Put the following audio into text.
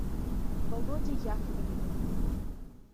володе яковлеве